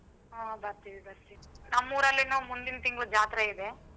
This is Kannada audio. ಹಾ ಬರ್ತಿವಿ ಬರ್ತಿವಿ ನಮ್ಮೂರಲ್ಲೆನೂ ಮುಂದಿನ್ ತಿಂಗ್ಳು ಜಾತ್ರೆ ಇದೆ.